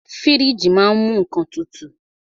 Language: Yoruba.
Fíríjì ma á ń mú nnkan tutù.